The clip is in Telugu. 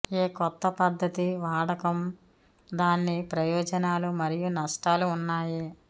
ఏ కొత్త పద్ధతి వాడకం దాని ప్రయోజనాలు మరియు నష్టాలు ఉన్నాయి